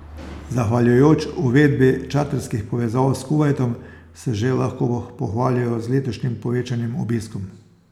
Zahvaljujoč uvedbi čarterskih povezav s Kuvajtom se že lahko pohvalijo z letošnjim povečanim obiskom.